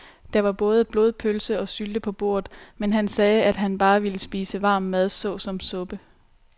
Der var både blodpølse og sylte på bordet, men han sagde, at han bare ville spise varm mad såsom suppe.